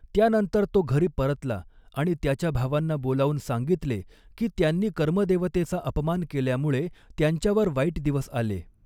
त्यानंतर तो घरी परतला आणि त्याच्या भावांना बोलावून सांगितले की, त्यांनी कर्मदेवतेचा अपमान केल्यामुळे त्यांच्यावर वाईट दिवस आले.